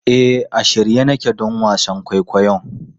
E, a shirye nake don wasan kwaikwayon.